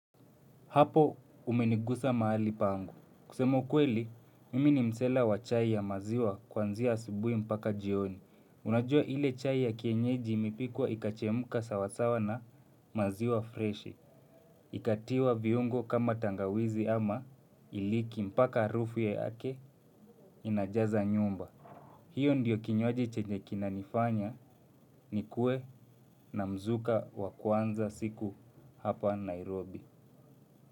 Hapo umenigusa mahali pangu. Kusema ukweli, mimi ni msela wa chai ya maziwa kwanzia asubuhi mpaka jioni. Unajua ile chai ya kienyeji imepikwa ikachemka sawasawa na maziwa freshi. Ikatiwa viungo kama tangawizi ama iliki mpaka harufu yake inajaza nyumba. Hiyo ndiyo kinywaji chenye kinanifanya nikue na mzuka wa kwanza siku hapa Nairobi.